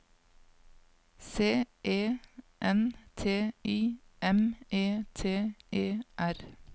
C E N T I M E T E R